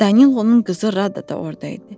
Danilonun qızı Rada da orada idi.